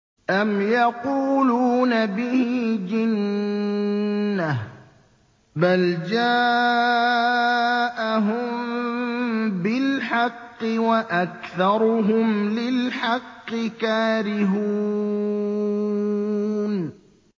أَمْ يَقُولُونَ بِهِ جِنَّةٌ ۚ بَلْ جَاءَهُم بِالْحَقِّ وَأَكْثَرُهُمْ لِلْحَقِّ كَارِهُونَ